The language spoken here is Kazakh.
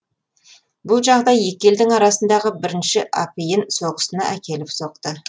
бұл жағдай екі елдің арасындағы бірінші апиын соғысына әкеліп соқты